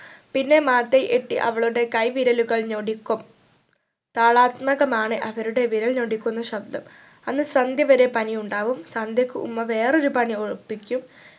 പിന്നെ മാതയ് എട്ടി അവളുടെ കൈവിരലുകൾ ഞൊടിക്കും താളാത്മകമാണ് അവരുടെ വിരൽ ഞൊടിക്കുന്ന ശബ്‌ദം അന്ന് സന്ധ്യ വരെ പനി ഉണ്ടാവും സന്ധ്യക്ക് ഉമ്മ വേറെയൊരു പനി ഏർ ഒപ്പിക്കും